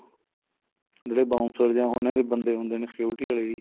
ਜਿਹੜੇ bouncer ਜਾਂ ਉਹਨਾ ਦੇ ਬੰਦੇ ਹੁੰਦੇ ਨੇ security ਵਾਲੇ ਜੀ